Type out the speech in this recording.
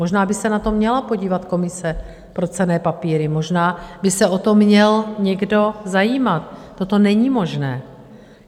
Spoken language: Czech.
Možná by se na to měla podívat Komise pro cenné papíry, možná by se o to měl někdo zajímat, toto není možné.